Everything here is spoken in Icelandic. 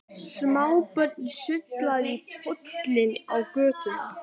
Smábörnin sulluðu í pollum á götunni.